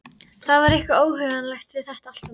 Það var eitthvað óhugnanlegt við þetta allt saman.